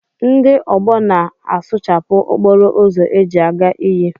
Ndị ọgbọ na a sụchapụ okporo ụzọ eji a ga iyi.